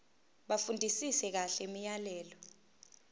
bafundisise kahle imiyalelo